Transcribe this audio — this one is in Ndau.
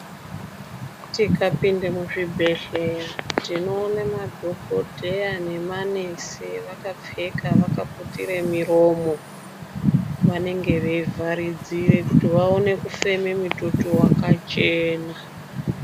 Tikapinde muzvibhedhleya tinoone madhogodheya nemanesi vakapfeka vakaputire miromo. Vanenge veivharidzira kuti vafeme mitoto wakachena.